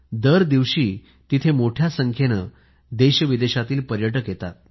दरदिवशी तिथे मोठ्या संख्येने पर्यटक येतात